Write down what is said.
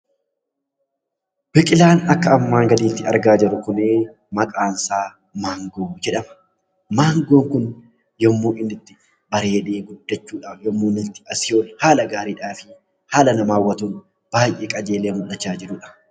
Biqilaan akka armaan gadiitti argaa jiruu kuni maqaan isaa Mangoo jedhama. Mangoon yommuu inni itti bareede guddachuudhafi haala gaarii, haala nama hawwatuun, baay'ee qajeelee mul'achaa jiruudha.